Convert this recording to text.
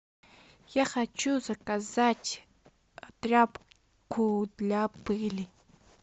я хочу заказать тряпку для пыли